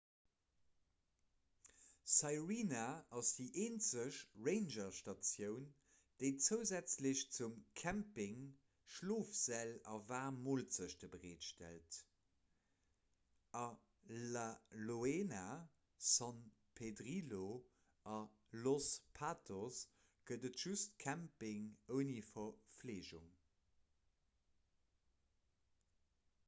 sirena ass déi eenzeg rangerstatioun déi zousätzlech zum camping schlofsäll a waarm moolzechten bereetstellt a la leona san pedrillo a los patos gëtt et just camping ouni verfleegung